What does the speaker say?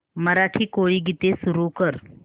मराठी कोळी गीते सुरू कर